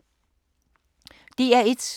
DR1